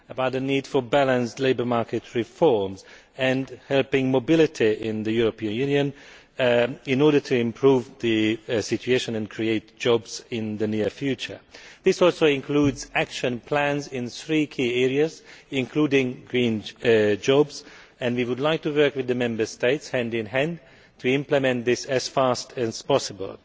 on the need for balanced labour market reforms and on helping mobility in the European Union in order to improve the situation and create jobs in the near future. It also includes action plans in three key areas, including green jobs, and we would like to work hand in hand with the Member States in order to implement this as fast as possible.